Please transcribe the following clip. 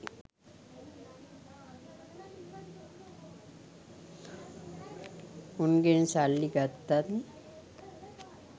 උන්ගෙන් සල්ලි ගත්තත්